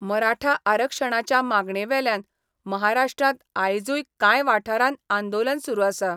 मराठा आरक्षणाच्या मागणे वेल्यान महाराष्ट्रांत आयजुय कांय वाठारांत आंदोलन सुरू आसा.